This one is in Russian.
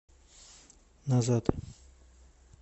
назад